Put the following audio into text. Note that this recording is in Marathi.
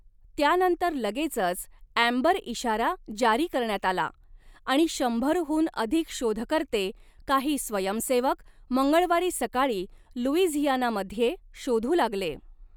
त्यानंतर लगेचच अँबर इशारा जारी करण्यात आला आणि शंभर हून अधिक शोधकर्ते, काही स्वयंसेवक, मंगळवारी सकाळी लुईझियानामध्ये शोधू लागले.